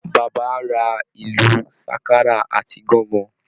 Bàbá ra ìlu Ṣákárà àti Gangan